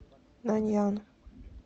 наньян